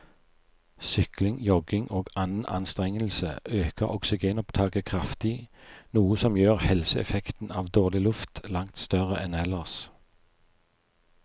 Sykling, jogging og annen anstrengelse øker oksygenopptaket kraftig, noe som gjør helseeffekten av dårlig luft langt større enn ellers.